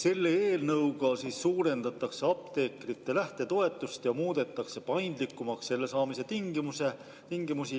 Selle eelnõuga suurendatakse apteekrite lähtetoetust ja muudetakse paindlikumaks selle saamise tingimusi.